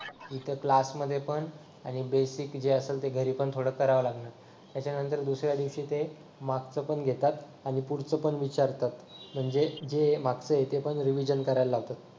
इथे क्लास मध्ये पण आणि बेसिक जे आहे ते घरी पण थोडं करावं लागणार त्याच्यानंतर दुसऱ्या दिवशी ते मागच पण घेतात आणि पुढचं पण विचारतात म्हणजे जे मागच आहे ते पण रिविजन करायला लावतात